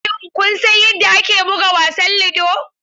Shin kun san yadda ake buga wasan ludo?